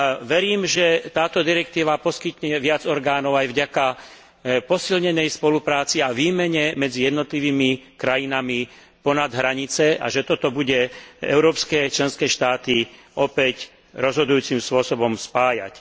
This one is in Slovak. Verím, že táto direktíva poskytne viac orgánov aj vďaka posilnenej spolupráci a výmene medzi jednotlivými krajinami ponad hranice a že toto bude európske členské štáty opäť rozhodujúcim spôsobom spájať.